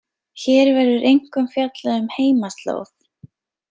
Hér verður einkum fjallað um heimaslóð.